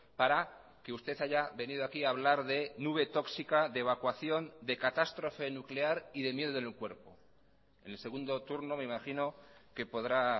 para que usted haya venido aquí a hablar de nube tóxica de evacuación de catástrofe nuclear y de miedo en el cuerpo en el segundo turno me imagino que podrá